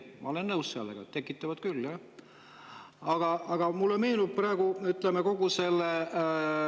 Ma olen sellega nõus, tekitavad küll.